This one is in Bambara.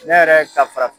Ne yɛrɛ ka farafin